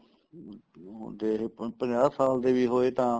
ਜੇ ਆਪਾਂ ਪੰਜਾਹ ਸਾਲ ਦੇ ਵੀ ਹੋਏ ਤਾਂ